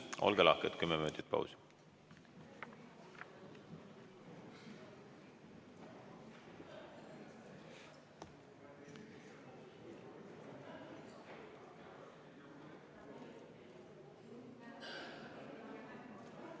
Olge lahked, kümme minutit pausi!